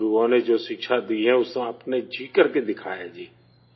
گروؤں نے جو تعلیمات دی ہیں جی اسے آپ نے جی کر کے دکھایا ہے جی